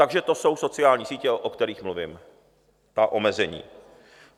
Takže to jsou sociální sítě, o kterých mluvím, ta omezení.